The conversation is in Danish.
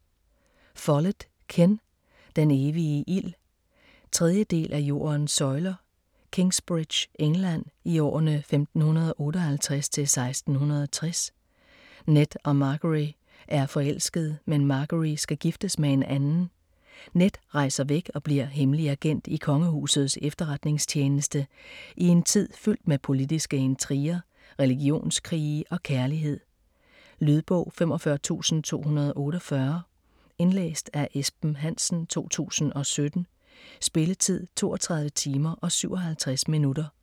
Follett, Ken: Den evige ild 3. del af Jordens søjler. Kingsbridge, England, i årene 1558-1660. Ned og Margery er forelskede, men Margery skal giftes med en anden. Ned rejser væk og bliver hemmelig agent i kongehusets efterretningstjeneste i en tid fyldt med politiske intriger, religionskrige og kærlighed. Lydbog 45248 Indlæst af Esben Hansen, 2017. Spilletid: 32 timer, 57 minutter.